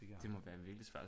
Det fik jeg aldrig